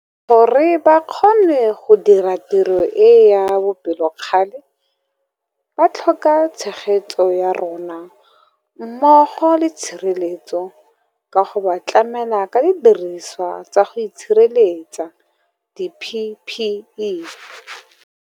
Gore ba kgone go dira tiro e ya bopelokgale ba tlhokatshegetso ya rona mmogo le tshireletso ka go ba tlamela ka didirisiwa tsa go itshireletsa di-PPE.